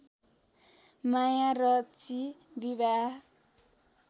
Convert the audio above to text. माया रची विवाह